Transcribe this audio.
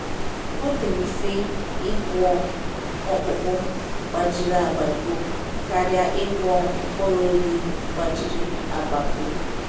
“Ọ dị mfe ịgwọ ọkpụkpụ gbajiri agbagbu karịa ịgwọ mkpụrụ obi gbajiri agbagbu.”